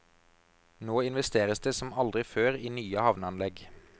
Nå investeres det som aldri før i nye havneanlegg.